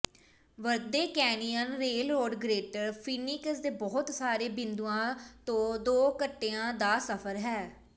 Verde Canyon Railroad Greater Phoenix ਦੇ ਬਹੁਤ ਸਾਰੇ ਬਿੰਦੂਆਂ ਤੋਂ ਦੋ ਘੰਟਿਆਂ ਦਾ ਸਫਰ ਹੈ